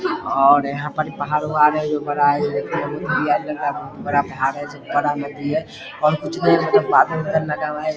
और यहाँ पे पहाड़ है और कुछ नहीं बादल लगा हुआ है ।